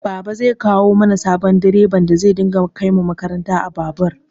Baba zai kawo mana sabon direban da zai dinga kaimu makaranta a babur